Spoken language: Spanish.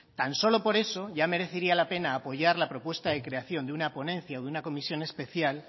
tan solo por eso ya merecería la pena apoyar la propuesta de creación de una ponencia o de una comisión especial